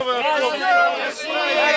Rusiya, Rusiya!